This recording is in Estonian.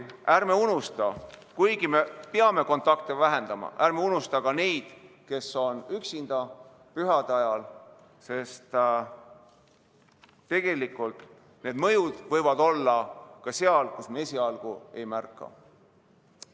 Ja ärme unusta, et kuigi me peame kontakte vähendama, ärme unusta ka neid, kes on pühade ajal üksinda, sest tegelikult need mõjud võivad olla ka seal, kus me neid esialgu ei märka.